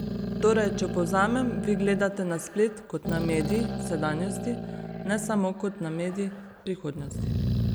Torej, če povzamem, vi gledate na splet kot na medij sedanjosti, ne samo kot na medij prihodnosti.